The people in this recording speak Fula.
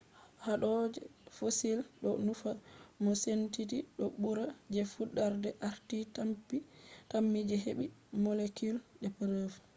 hado je fossil do nufa mo senditi do bura je fudarde arti tammi je hebi shaidaji molecule